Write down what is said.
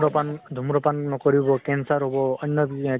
সুৰা পান, ধুম্ৰ পান নকৰিব, কেন্সাৰ হʼব। অন্য়